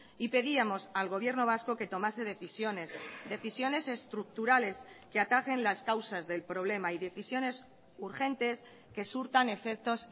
y pedíamos al gobierno vasco que tomase decisiones decisiones estructurales que atajen las causas del problema y decisiones urgentes que surtan efectos